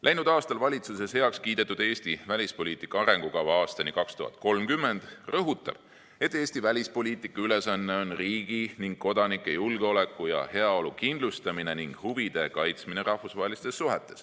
Läinud aastal valitsuses heaks kiidetud Eesti välispoliitika arengukava aastani 2030 rõhutab, et Eesti välispoliitika ülesanne on riigi ning kodanike julgeoleku ja heaolu kindlustamine ning huvide kaitsmine rahvusvahelistes suhetes.